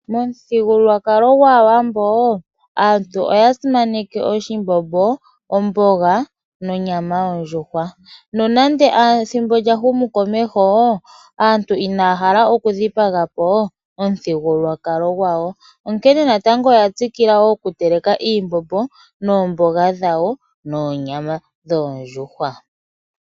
Momuthigululwakalo gwAawambo aantu oya simaneka oshimbombo, omboga nonyama yondjuhwa . Nonando ethimbo lyahumu komeho aantu inaya hala okudhipagapo omuthigululwakalo gwawo, onkene nando oya tsikila okutekela oonyama dhoondjuhwa, oomboga niimbombo yawo.